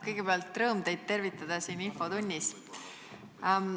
Kõigepealt, rõõm teid tervitada siin infotunnis!